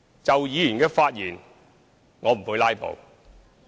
就議員的發言，我不會"拉布"。